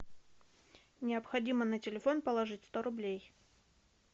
необходимо на телефон положить сто рублей